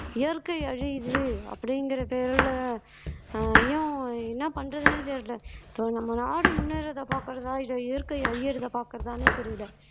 இயற்கை அழியுது அப்படிங்கற பேருல ஏன் என்ன பண்றதுன்னே தெரியலே இப்ப நம்ம நாடு முன்னேறுறதை பாக்கறதா இல்லை இயற்கை அழியறதை பாக்கறதான்னு புரியலை